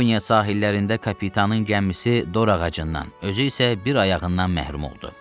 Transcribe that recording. Yaponiya sahillərində kapitanın gəmisi dor ağacından, özü isə bir ayağından məhrum oldu.